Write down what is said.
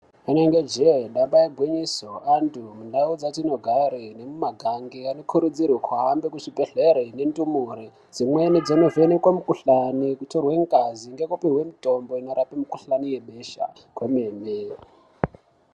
Rinenge jee damba igwinyiso antu mundau dzatinogare nemumagange anokurudzirwe kuhambe kuzvibhehlere nendumure dzimweni dzinovhenekwe mukhuhlani kutorwe ngazi ngekupihwe mitombo inorape mikhuhlani yebesa kwemene.